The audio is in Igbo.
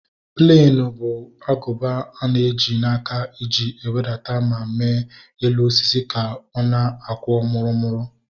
Plenu bụ agụba ana eji n'aka eji ewedata ma mee elu osisi ka ọ na-akwọ murumuru